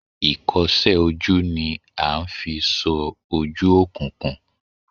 Ikose oju ni a n fi so oju okunkun.